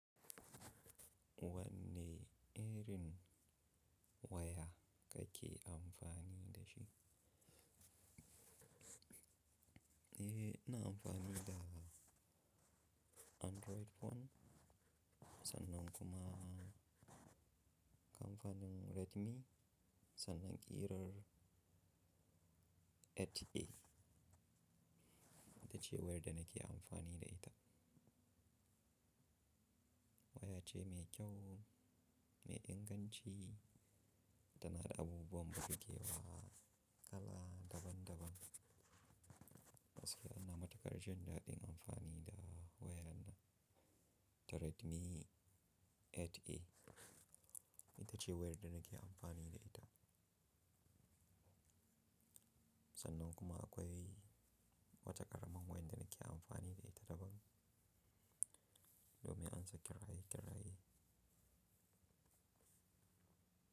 Wanne irin waya kake amfani da shi? Eh, ina amfani da Android phone. Sannan kuma kamfanin Redmi, sannan ƙirar 8A. Ita ce wayar da nake amfani da ita. Waya ce mai kyau, mai inganci tana da abubuwan burgewa kala daban daban. Gaskiya ina matuƙar jin daɗin amfani da wayar nan ta Redmi 8A. Ita ce wayar da nake amfani da ita. Sannan kuma akwai wata ƙaramin wayar da nake amfani da ita daban. Domin ansa kiraye kiraye.